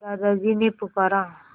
दादाजी ने पुकारा